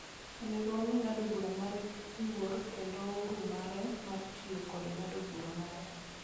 Onego wami ng'ado bura mare luor kendo Ouru mare mar tiyo kod ng'ado bura mare